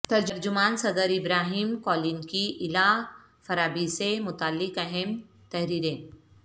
ترجمان صدر Ibrahim Kalin کی الا فرابی سے متعلق اہم تحریریں